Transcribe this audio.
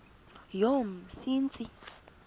yomsintsi